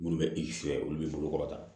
Minnu bɛ olu bɛ bolo kɔrɔta